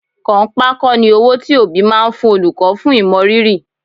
Kànńpá kọ́ ni owó tí òbí máa ń fún olùkọ́ fún ìmọrírì